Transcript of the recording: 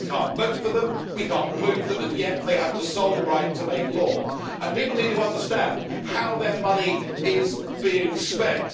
We cannot vote for them, we cannot remove them, and yet they have the sole right to make law, and people need to understand how their money is being spent.